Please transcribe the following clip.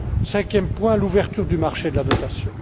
Cinquième point, l'ouverture du marché de la notation.